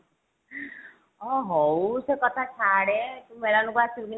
ଅ ହଉ ସେ କଥା ଛାଡେ ତୁ ମେଳନ କୁ ଆସିବୁ କି ନାହିଁ